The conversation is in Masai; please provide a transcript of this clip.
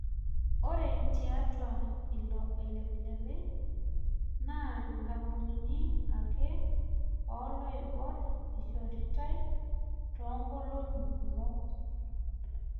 Ore tiatua ilo olepilepi naa nkapunini ake oloibor eishoritae too nkolong'i kumok